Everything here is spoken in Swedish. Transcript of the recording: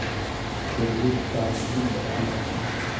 Fredrika Lindqvist